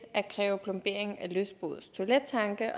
at kræve plombering af lystbådes toilettanke